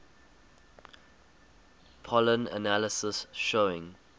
pollen analysis showing